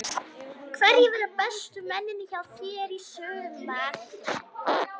Hverjir verða bestu mennirnir hjá þér í sumar?